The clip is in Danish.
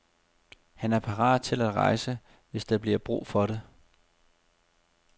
Han er parat til at rejse, hvis der bliver brug for det.